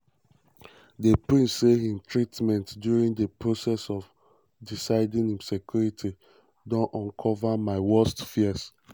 di um prince say im treatment during di process of deciding im secuirty don "uncover my worst um fears".